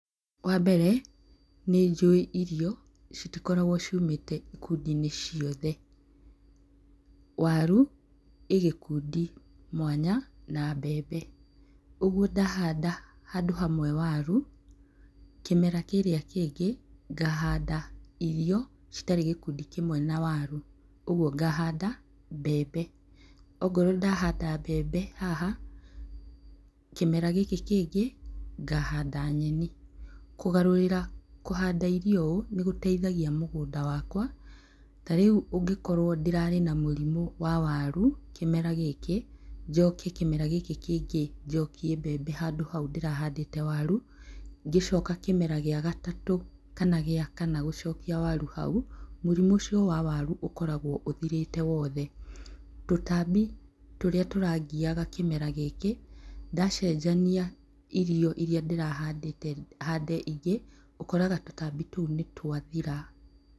Wa mbere nĩ njũĩ irio citikoragwo ciumĩte ikundi-inĩ ciothe, waru i gĩkĩndu mwanya na mbembe. Ũguo ndahanda handũ hamwe waru kĩmera kĩrĩa kĩngĩ ngahanda irio citarĩ gĩkundi kĩmwe na waru, ũguo ngahanda mbembe. Okorwo ndahanda mbembe haha kĩmera gĩkĩ kĩngĩ ngahanda nyeni. Kũgarũrĩra kũhanda irio ũũ, nĩgũteithagia mũgũnda wakwa, tarĩu ũngĩkorwo ndĩrarĩ na mũrimũ wa waru kĩmera gĩkĩ njoke kĩmera gĩkĩ kĩngĩ njokie mbembe handũ hau ndĩrahandĩte waru, ngĩcoka kĩmera gĩa gatatũ kana gĩa kana gũcokia waru hau mũrimũ ũcio wa waru ũkoragwo ũthirĩte wothe, tũtambi tũrĩa tũrangiaga kĩmera gĩkĩ ndacenjania irio iria ndĩrahandĩte hande ingĩ ũkoraga tũtambi tũu nĩ twathira.